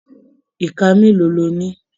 Iká mélòó lo ní?